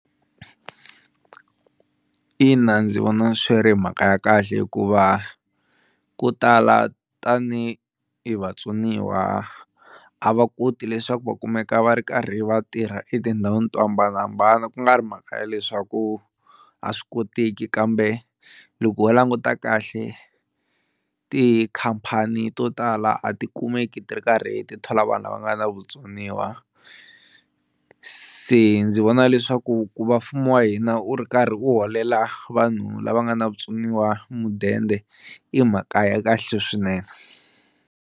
Ina ndzi vona swi ri mhaka ya kahle hikuva ko tala tani hi vatsoniwa a va koti leswaku va kumeka va ri karhi va tirha etindhawini to hambanahambana ku nga ri mhaka ya leswaku a swi koteki, kambe loko ho languta kahle tikhampani to tala a ti kumeki ti ri karhi ti thola vanhu lava nga na vutsoniwa, se ndzi vona leswaku ku va mfumo wa hina wu ri karhi u holela vanhu lava nga na vutsoniwa mudende i mhaka ya kahle swinene.